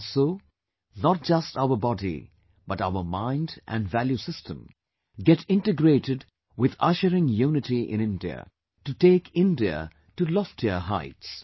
And so, not just our body, but our mind and value system get integrated with ushering unity in India to take India to loftier heights